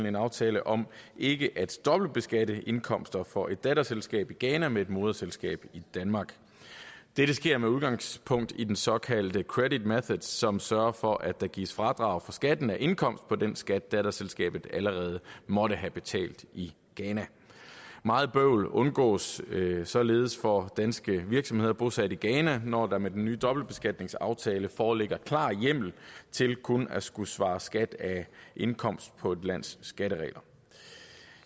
en aftale om ikke at dobbeltbeskatte indkomster for et datterselskab i ghana med et moderselskab i danmark det sker med udgangspunkt i den såkaldte credit method som sørger for at der gives fradrag for skatten af indkomst på den skat datterselskabet allerede måtte have betalt i ghana meget bøvl undgås således for danske virksomheder bosat i ghana når der med den nye dobbeltbeskatningsaftale foreligger klar hjemmel til kun at skulle svare skat af indkomst på et lands skatteregler